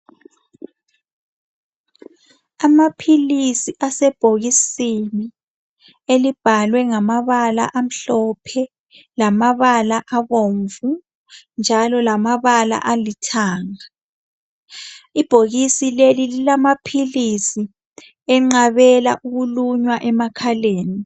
Amaphilisi asebhokisini elibhalwe ngamabala amhlophe lamabala abomvu njalo lamabala alithanga. Ibhokisi leli lilamaphilisi anqabela ukulunywa emakhaleni.